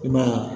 I ma ye